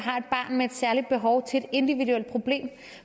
har med et særligt behov til et individuelt problem